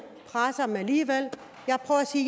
dem alligevel